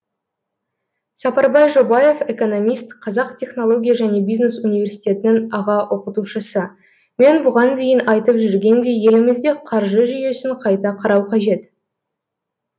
сапарбай жобаев экономист қазақ технология және бизнес университетінің аға оқытушысы мен бұған дейін айтып жүргендей елімізде қаржы жүйесін қайта қарау қажет